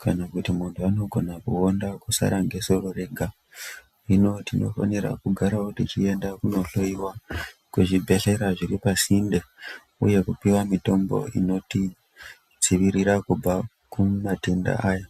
kana kuti muntu anogona kuwonda kusara ngesoro rega, hino tinofanira kugarawo techiendawo kunohloyiwa kuzvibhelera zviri pasinde uye kupiwa mitombo inotidzivirira kubva kumatenda aya.